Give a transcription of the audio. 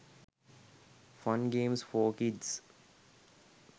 fun games for kids